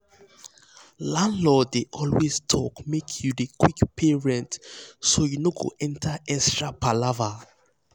landlord dey always talk make you dey quick pay rent so you no go enter extra palava.